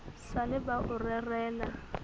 sa le ba o rerela